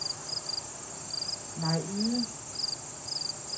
Mai Yde